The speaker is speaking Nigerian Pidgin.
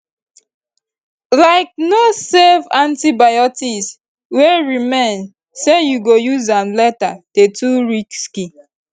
like no save antibiotics wey remain say you go use am later dey too risky